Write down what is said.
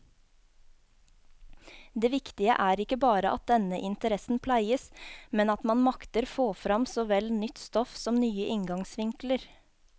Det viktige er ikke bare at denne interessen pleies, men at man makter få frem såvel nytt stoff som nye inngangsvinkler.